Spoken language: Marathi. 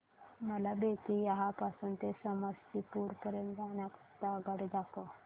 मला बेत्तीयाह पासून ते समस्तीपुर पर्यंत जाण्या करीता आगगाडी दाखवा